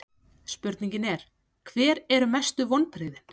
Spurningin er: Hver eru mestu vonbrigðin?